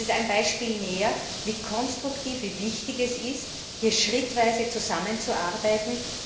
Das ist ein Beispiel mehr, wie konstruktiv und wie wichtig es ist, hier schrittweise zusammenzuarbeiten.